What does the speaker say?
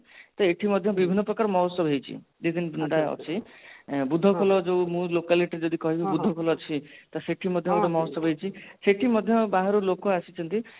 ତ ଏଠି ମଧ୍ୟ ବିଭିନ୍ନ ପ୍ରକାର ମହୋଚ୍ଚବ ହେଇଛି ଟା ଅଛି ବୁଧ ଖୋଲ ଯୋଉ ମୁଁ locality ଯଦି କହିବି ତ ଶେଠୀ ମଧ୍ୟ ଗୋଟେ ମହୋଚ୍ଚବ ହେଇଛି ସେଠି ମଧ୍ୟ ବାହାରୁ ଲୋକ ଆସିକିଛନ୍ତି